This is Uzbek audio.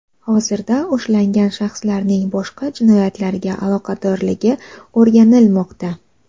Hozirda ushlangan shaxslarning boshqa jinoyatlarga aloqadorligi o‘rganilmoqda.